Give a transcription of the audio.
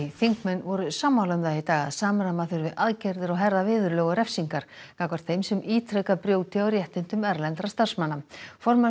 þingmenn voru sammála um það í dag að samræma þurfi aðgerðir og herða viðurlög og refsingar gagnvart þeim sem ítrekað brjóti á réttindum erlendra starfsmanna formaður